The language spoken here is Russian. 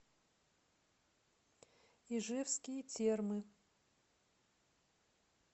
ижевские термы